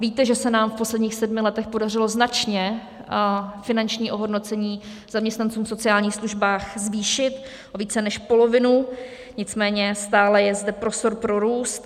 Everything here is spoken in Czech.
Víte, že se nám v posledních sedmi letech podařilo značně finanční ohodnocení zaměstnanců v sociálních službách zvýšit o více než polovinu, nicméně stále je zde prostor pro růst.